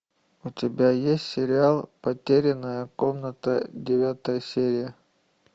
у тебя есть сериал потерянная комната девятая серия